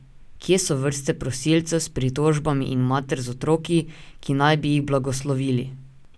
Kje so vrste prosilcev s pritožbami in mater z otroki, ki naj bi jih blagoslovili?